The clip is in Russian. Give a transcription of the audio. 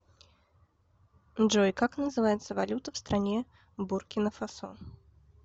джой как называется валюта в стране буркина фасо